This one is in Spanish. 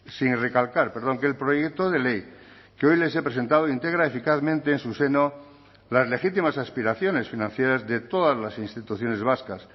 sin recalcar que el proyecto de ley que hoy les he presentado integra eficazmente en su seno las legítimas aspiraciones financieras de todas las instituciones vascas